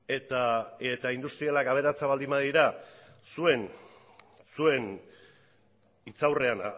eta industrialak aberatsak baldin badira zuen hitz aurrean